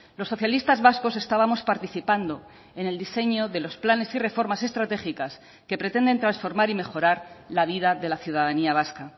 los socialistas vascos estábamos participando en el diseño de los planes y reformas estratégicas que pretenden transformar y mejorar la vida de la ciudadanía vasca